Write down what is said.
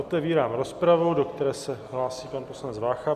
Otevírám rozpravu, do které se hlásí pan poslanec Vácha.